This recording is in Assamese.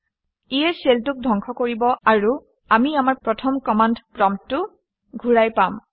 ইয়ে শেল 2 ক ধ্বংস কৰিব আৰু আমি আমাৰ প্ৰথমৰ কমাণ্ড প্ৰম্পটটো ঘূৰাই পাম